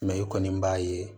Mɛ i kɔni b'a ye